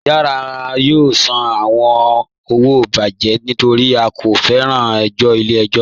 Rárá, à yóò sàn àwọn owo bíbàjẹ̀ nítorí à kò fẹ ẹ̀jọ̀ ilẹ̀-ẹ̀jọ̀.